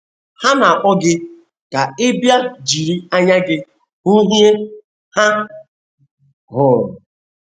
Ha na - akpọ gị ka ị bịa jiri anya gị hụ ihe ha hụrụ.